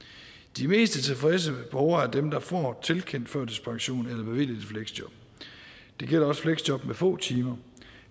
de mest tilfredse borgere er dem der får tilkendt førtidspension eller bevilget et fleksjob det gælder også fleksjob med få timer